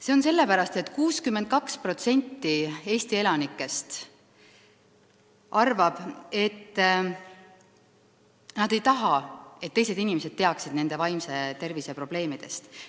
See on sellepärast nii, et 62% Eesti elanikest ei taha, et teised inimesed teaksid nende vaimse tervise probleemidest.